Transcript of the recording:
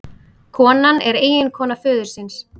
Konan er eiginkona föðursins